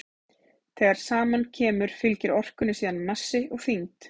þegar saman kemur fylgir orkunni síðan massi og þyngd